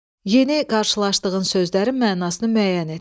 Yeni qarşılaşdığın sözlərin mənasını müəyyən et.